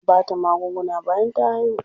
An bata magunguna bayan ta haihu.